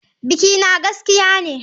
Bikina gaskiya ne.